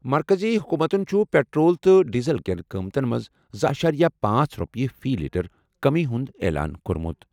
مرکٔزی حکوٗمتَن چھُ پیٹرول تہٕ ڈیزل کٮ۪ن قۭمتَن منٛز زٕ اَشارِیہ پانٛژھ رۄپیہِ فی لیٹر کٔمی ہُنٛد اعلان کوٚرمُت۔